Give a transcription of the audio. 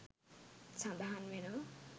සඳහන් වෙනවා